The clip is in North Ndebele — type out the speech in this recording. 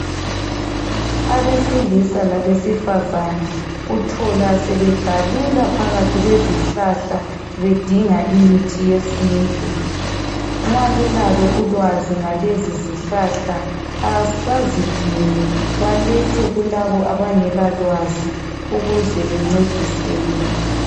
Abesilisa labesifazane uthola sebegalula phakathi kwezihlahla bedinga imithi yesintu. Nxa belalo ulwazi ngalezizihlahla, bazidinge balethe kulabo abangela lwazi ukuze bencediseke.